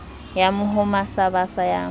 ya mohoma sa basa ya